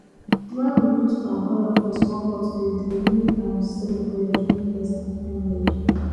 when we put palm oil for small bottle e dey make am sell well during festive period